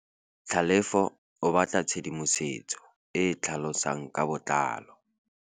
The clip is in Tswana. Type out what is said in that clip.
Tlhalefô o batla tshedimosetsô e e tlhalosang ka botlalô.